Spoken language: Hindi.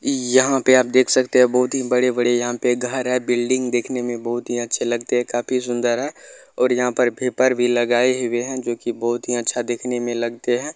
यहाँ पे आप देख सकते है बहुत ही बड़े-बड़े यहाँ पर घर है बिल्डिंग देखने में बहुत अच्छे लगते है काफी सुन्दर है और यहाँ पर भेपर भी लगाये हुए है जो की बहुत अच्छा देखने मे लगते है।